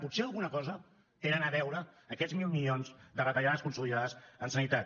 potser alguna cosa tenen a veure aquests mil milions de retallades consolidades en sanitat